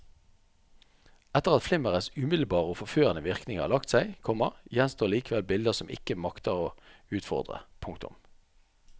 Etter at flimmerets umiddelbare og forførende virkning har lagt seg, komma gjenstår likevel bilder som ikke makter å utfordre. punktum